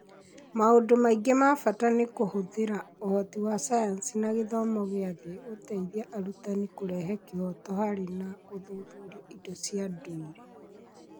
Maũndũ mangĩ ma bata nĩ kũhũthĩra ũhoti wa sayansi na gĩthomo gĩa thĩ gũteithia arutani kũrehe kĩhooto harĩ na gũthuthuria indo cia ndũire